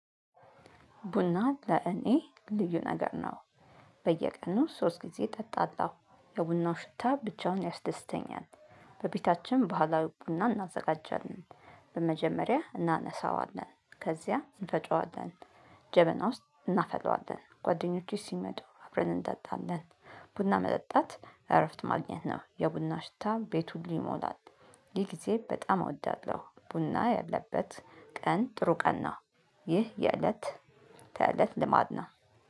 ቡና ለእኔ ልዩ ነገር ነው። በየቀኑ ሶስት ጊዜ እጠጣላው ለቡናው ሽታ ብቻውን ያስደስተኛል። በቤታችን በኋላ ቡና እናዘጋጃለን። በመጀመሪያ እናነሳዋለን ከዚያ እንፈጨዋለን። ጀበና ውስጥ እናፈለዋለን ጓደኞቼ ሲመጡ አብረን እንጠጣለን። ቡና መጠጣት እረፍት ማግኘት ነው የቡና ሽታ ቤቱን ሊሞላ ሊል ሲል በጣም እወዳለሁ። ቡና ያለበት ቀን ጥሩ ቀን። ይህ የእለት ተእለት ልማድ ነው።